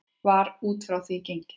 Var út frá því gengið?